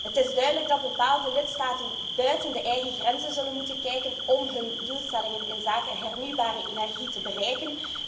Het is duidelijk dat bepaalde lidstaten buiten de eigen grenzen zullen moeten kijken om hun doelstellingen inzake hernieuwbare energie te bereiken.